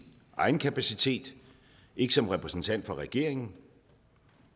egen kapacitet ikke som repræsentant for regeringen